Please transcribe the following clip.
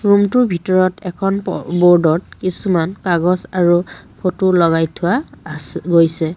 ৰুমটোৰ ভিতৰত এখন প ব'ৰ্ডত কিছুমান কাগজ আৰু ফটো লগাই থোৱা আছে গৈছে।